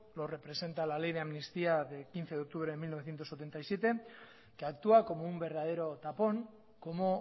lo representa la ley de amnistía de quince de octubre de mil novecientos setenta y siete que actúa como un verdadero tapón como